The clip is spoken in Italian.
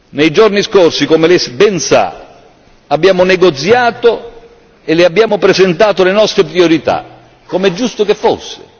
Nei giorni scorsi, come Lei ben sa, abbiamo negoziato e le abbiamo presentato le nostre priorità, come era giusto che fosse.